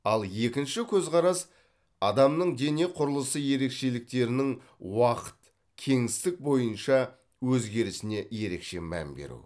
ал екінші көзқарас адамның дене құрылысы ерекшеліктерінің уақыт кеңістік бойынша өзгерісіне ерекше мән беру